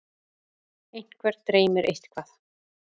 einhvern dreymir eitthvað